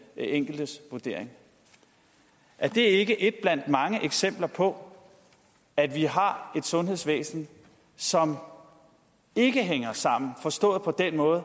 enkeltes vurdering er det ikke et blandt mange eksempler på at vi har et sundhedsvæsen som ikke hænger sammen forstået på den måde